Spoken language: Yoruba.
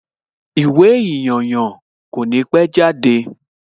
Ìwé ìyànyàn kò ní pẹ́ jáde